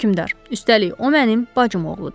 Hökmdar, üstəlik o mənim bacım oğludur.